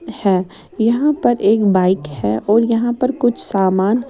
है यहां पर एक बाइक है और यहां पर कुछ सामान--